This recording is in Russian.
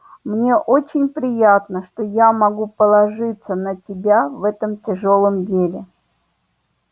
мне очень приятно что я могу положиться на тебя в этом тяжёлом деле